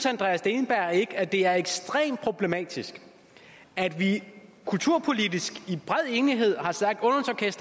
andreas steenberg ikke at det er ekstremt problematisk at vi kulturpolitisk i bred enighed har sagt